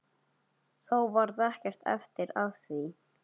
Þó varð ekkert af því.